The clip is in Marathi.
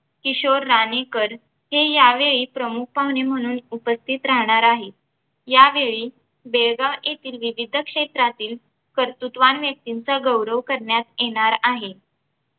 किशोर राणेकर हे यावेळी प्रमुख पाहुणे म्हणून उपस्थित राहणार आहेत यावेळी बेळगाव येथील विविध क्षेत्रातील कर्तृत्ववान व्यक्तींचा गौरव करण्यात येणार आहे